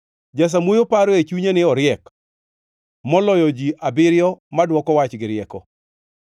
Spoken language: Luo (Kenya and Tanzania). Jasamuoyo paro e chunye ni oriek moloyo ji abiriyo ma dwoko wach gi rieko.